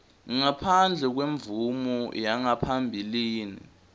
ngaphandle kwemvumo yangaphambilini